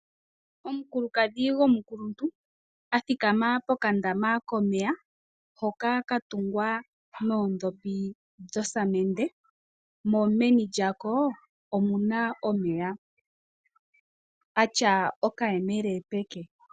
Omukulukadhi gomukuluntu a thikama pokandama komeya hoka katungwa noondhopi dhosamende, mo meni lyako omuna omeya, a tya okayemele peke.